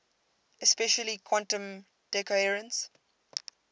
especially quantum decoherence